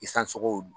I sansogow